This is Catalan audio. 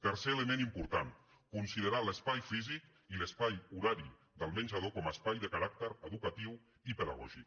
tercer element important considerar l’espai físic i l’espai horari del menjador com a espai de caràcter educatiu i pedagògic